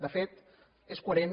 de fet és coherent